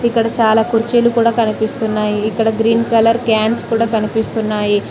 ఇక్కడ చాలా కుర్చీలు కూడా కనిపిస్తున్నాయి ఇక్కడ గ్రీన్ కలర్ క్యాన్స్ కూడా కనిపిస్తున్నాయి.